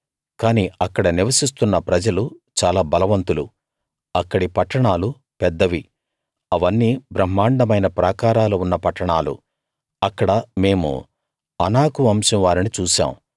కానీ అక్కడ నివసిస్తున్న ప్రజలు చాలా బలవంతులు అక్కడి పట్టణాలు పెద్దవి అవన్నీ బ్రమ్హాండమైన ప్రాకారాలు ఉన్న పట్టణాలు అక్కడ మేము అనాకు వంశం వారిని చూశాం